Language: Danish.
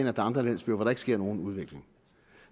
er andre landsbyer hvor der ikke sker nogen udvikling